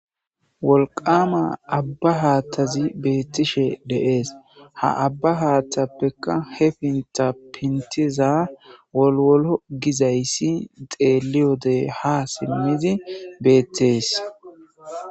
Wolqama abba haattazi beettishe deees ha abba haattappekka he pinta pintiza wolwolo gizayssi xeeli wodey ha simmizi beettees.